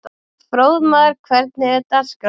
Fróðmar, hvernig er dagskráin?